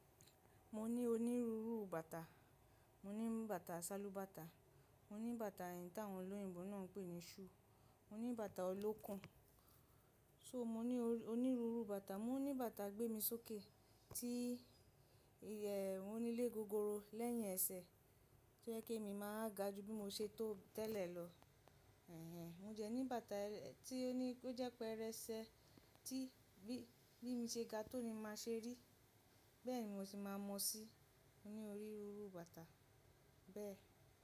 Mo ní onírúurú bàtà. Mo ní bàtà ṣálúbàtà, mo ní bàtà ẹ̀yí táwọn olóyìnbó náà pè ní shoe, mo ní bàtà ọlókùn. So mo ní onírúurú bàtà, mo ní bàtà gbé mi sókè tí ìyèwù nílé gogoro lẹ́yìn ẹsẹ̀ tó jẹ́kí èmi máa ga ju bí mo ṣe tó tẹ́lẹ̀ lọ. Ehen, mo dẹ ní bàtà tí ó ní kó jẹ́ pé erẹ́sẹ́ tí bí ìmi ṣe ga tó ni màá ṣe rí, bẹ́ẹ̀ ni mo sì máa mọ̀ sí i. Mo ní oríru bàtà bẹ́ẹ̀